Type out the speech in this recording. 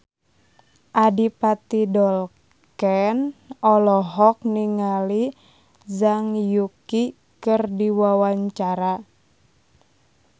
Adipati Dolken olohok ningali Zhang Yuqi keur diwawancara